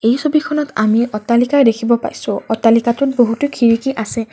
এই ছবিখনত আমি অট্টালিকা দেখিব পাইছোঁ অট্টালিকাটোত বহুতো খিৰিকী আছে।